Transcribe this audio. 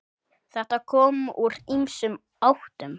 Þetta kom úr ýmsum áttum.